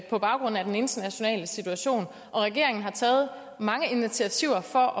på baggrund af den internationale situation og regeringen har taget mange initiativer for